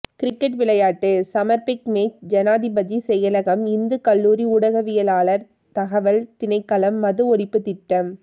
cricket விளையாட்டுச் சமர் big match ஜனாதிபதி செயலகம் இந்துக் கல்லூரி ஊடகவியலாளர் தகவல் திணைக்களம் மது ஒழிப்புத் திட்டம்